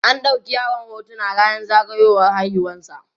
an ɗauki yaron hotuna rannan zagayiwar haihuwar sa